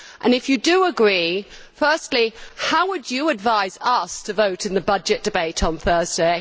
If you do agree, firstly, how would you advise us to vote in the budget debate on Thursday?